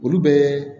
Olu bɛ